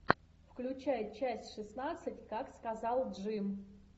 включай часть шестнадцать как сказал джим